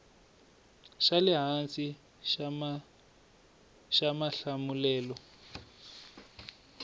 xa le hansi xa mahlamulelo